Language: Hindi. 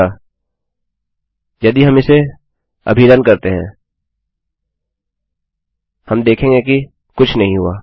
अच्छा यदि हम इसे अभी रन करते हैं हम देखेंगे कि कुछ नहीं हुआ